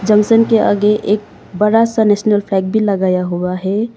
Junction के आगे एक बड़ा सा नेशनल फ्लैग भी लगाया हुआ है।